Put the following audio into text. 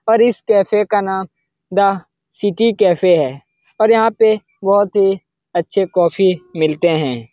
और इस कैफ़े का नाम दा सिटी कैफ़े है और यहाँ पे बहुत ही अच्छे कॉफ़ी मिलते है ।